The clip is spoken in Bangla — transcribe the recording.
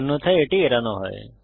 অন্যথায় এটি এড়ানো হয়